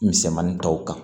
Misɛnmanin tɔw kan